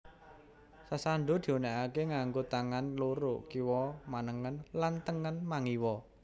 Sasando diunekake nganggo tangan loro kiwa manengen lan tengen mangiwa